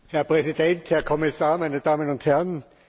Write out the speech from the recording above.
Herr Präsident, Herr Kommissar, meine Damen und Herren!